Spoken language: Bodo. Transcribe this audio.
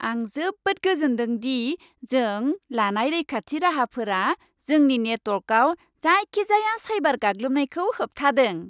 आं जोबोद गोजोनदों दि जों लानाय रैखाथि राहाफोरा जोंनि नेटअवार्कआव जायखिजाया साइबार गाग्लोबनायखौ होबथादों।